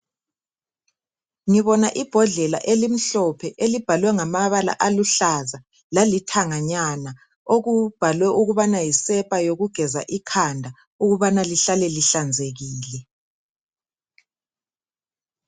Ngibona ibhodlela elimhlophe elibhalwe ngamabala aluhlaza lalithanganyana, okubhalwe ukubana yisepa yokugeza ikhanda ukubana lihlale lihlanzekile.